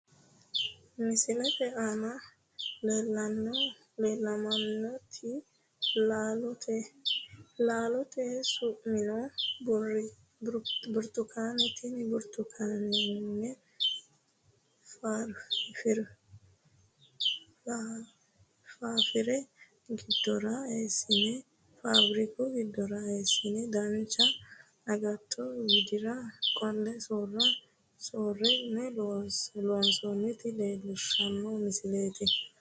Misilete aanna la'neemoti laalote laalote su'mino burtukaanete tene burtukaane faafiriku gidora eesine dancha agatto widira qole soorine loonsoonita leelishano misileeti.